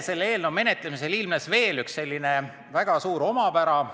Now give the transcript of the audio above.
Selle eelnõu menetlemisel ilmnes veel üks väga suur omapära.